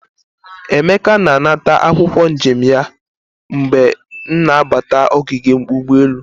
Emeka na anata akwokwo njem ya mgbe m na-abata ogige ugboelu.